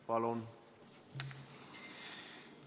Palun!